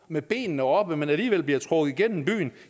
med benene oppe men alligevel bliver trukket igennem byen